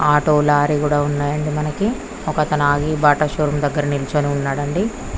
Auto lorry కూడా ఉన్నాయి అండి. మనకి ఒక అతను ఆగి బాటా షో రూమ్ దగ్గర నిల్చొని ఉన్నారు అండి.